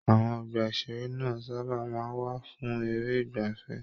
Àwọn ọgbà-ìṣeré náà sábà máa ń wà fún eré ìgbaafẹ́.